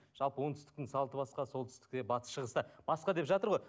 жалпы оңтүстіктің салты басқа солтүстікте батыс шығыста басқа деп жатыр ғой